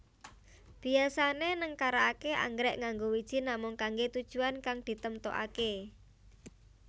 Biyasané nengkaraké anggrèk nganggo wiji namung kanggé tujuwan kang ditemtokaké